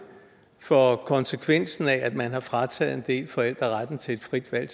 for konsekvensen af at man har frataget en del forældre retten til et frit valg